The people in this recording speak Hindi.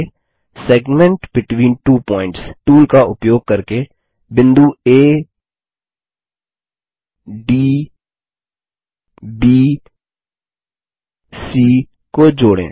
आगे segment between two points tool का उपयोग करके बिंदु आ डी ब सी को जोड़ें